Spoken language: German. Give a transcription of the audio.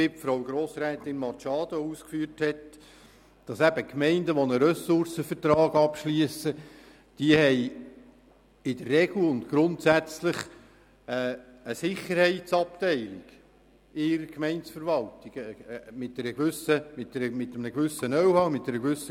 Wie Grossrätin Machado ausgeführt hat, ist es auch richtig, dass Gemeinden, die einen Ressourcenvertrag abschliessen, in der Regel eine Sicherheitsabteilung mit einem gewissen Know-how und einer gewissen Grösse in ihrer Gemeindeverwaltung haben.